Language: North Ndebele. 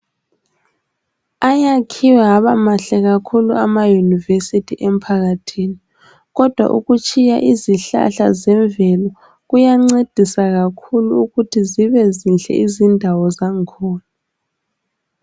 Ayakhiwe aba mahle kakhulu ama university emphakathini kodwa ukutshiya izihlahla zemvelo kuyancedisa kakhulu ukuthi zibe zinhle izindawo zakhona.